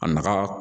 A nafa